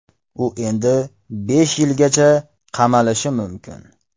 U endi besh yilgacha qamalishi mumkin.